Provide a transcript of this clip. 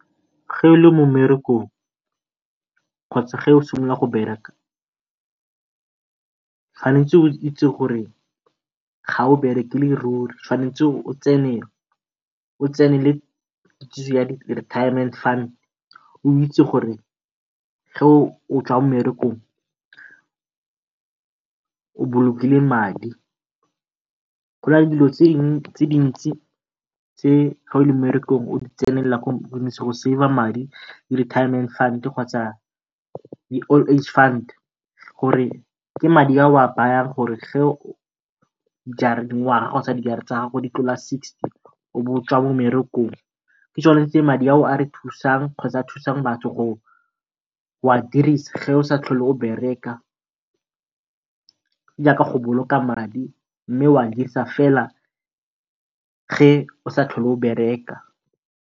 mmerekong kgotsa fa o simolola go bereka tshwanetse o itse gore ga o ruri. Tshwanetse o tsenele retirement fund o itse gore o tswa o bolokile madi. Go na le dilo tse dingwe tse di ntsi tse o le o di tsaya bo di-retirement fund kgotsa di-old age fund gore ke madi a o a bayang gore di tlola sixty o bo o tswa ke tsone tse madi ao a re thusang kgotsa a thusa batho go a dirisa osa tlhole o go boloka madi mme o adirisa fela o sa tlhole o .